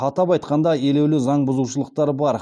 атап айтқанда елеулі заңбұзушылықтар бар